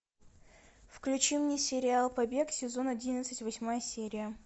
включи мне сериал побег сезон одиннадцать восьмая серия